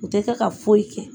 U tɛ kɛ ka foyi kɛ.